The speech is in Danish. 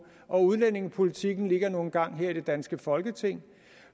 og udlændingepolitikken ligger nu engang her i det danske folketing